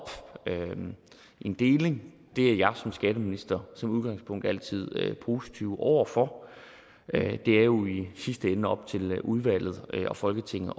en deling er jeg som skatteminister som udgangspunkt altid positiv over for det er jo i sidste ende op til udvalget og folketinget